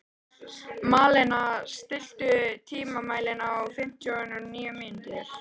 Malena, stilltu tímamælinn á fimmtíu og níu mínútur.